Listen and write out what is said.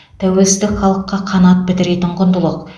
тәуелсіздік халыққа қанат бітіретін құндылық